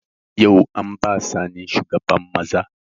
Yau an ba Sani shugaban maza